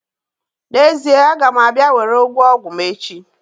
N'ezie, a ga m abia were ogwu ogwu m echi